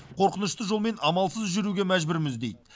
қорқынышты жолмен амалсыз жүруге мәжбүрміз дейді